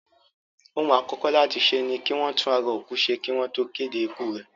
Ohun àkọ́kọ́ láti ṣe ni kí wọ́n tún ara òkú ṣe kí wọ́n tó kéde ikú rẹ̀.